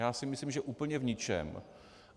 Já si myslím, že úplně v ničem.